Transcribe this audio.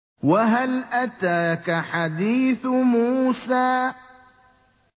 وَهَلْ أَتَاكَ حَدِيثُ مُوسَىٰ